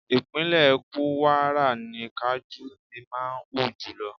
Ìpínlẹ̀ Kúwárà ni kajú ti máa ń hù jùlọ.